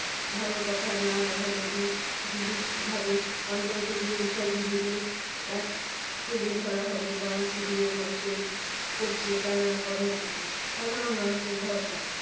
ভালো কথা না হলে দি~ দিলীপ ভাবে পঞ্চায়েতে গিয়ে বিষয়গুলি কে এক তুলে ধরা হবে বাম শিবিরে মানুষের করছে টানা কর্মসূচি। সাধারণ মানুষের ভরসা